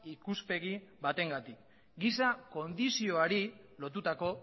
ikuspegi batengatik giza kondizioari lotutako